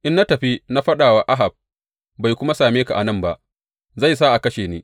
In na tafi na faɗa wa Ahab bai kuma same ka a nan ba, zai sa a kashe ni.